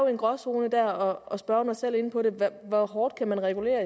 en gråzone der og spørgeren er selv inde på det hvor hårdt kan man regulere